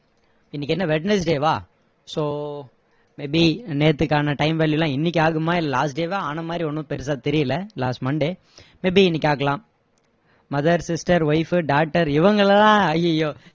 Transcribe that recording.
இன்னைக்கு என்ன wednesday வா so may be நேத்தைக்கான time value லாம் இன்னைக்கு ஆகுமா இல்ல last day ஏ ஆன மாதிரி ஒண்ணும் பெருசா தெரியல last monday may be இன்னைக்கு ஆகலாம் mother, sister, wife, daughter இவங்களை எல்லாம் அய்யயோ